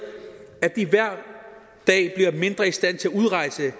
at de hver dag bliver mindre i stand til at udrejse